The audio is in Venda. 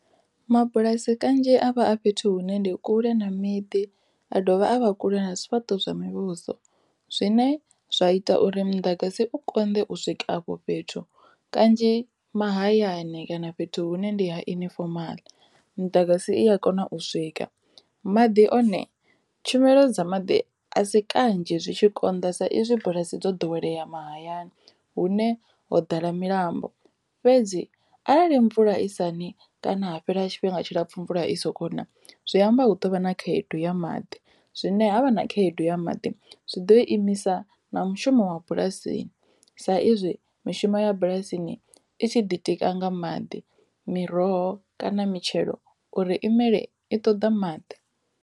Mabulasi kanzhi a vha a fhethu hune ndi kule na miḓi a dovha a vha kule na zwifhaṱo zwa muvhuso zwine zwa ita uri muḓagasi u konḓe u swika afho fhethu kanzhi mahayani kana fhethu hune ndi ha ini fomala muḓagasi i a kona u swika. Maḓi one tshumelo dza maḓi a si kanzhi zwi tshi konḓa sa izwi bulasi dzo ḓowelea mahayani hune ho ḓala milambo fhedzi arali mvula lisani kana ha fhela tshifhinga tshilapfu mvula i soko na zwi amba hu tovha na khaedu ya maḓi zwine ha vha na khaedu ya maḓi zwi ḓo imisa na mushumo wa bulasini sa izwi mishumo ya bulasini itshi ḓitika nga maḓi miroho kana mitshelo uri imele i ṱoḓa maḓi.